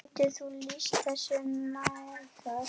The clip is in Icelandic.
Getur þú lýst þessu nánar?